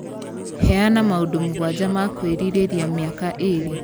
Heana maũndũ mũgwanja ma kwĩrirĩria mĩaka ĩĩrĩ